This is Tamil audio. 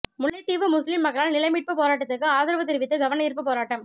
முல்லைத்தீவு முஸ்லீம் மக்களால் நிலமீட்பு போராட்டதுக்கு ஆதரவு தெரிவித்து கவனயீர்ப்பு போராட்டம்